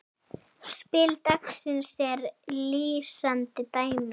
Spil dagsins er lýsandi dæmi.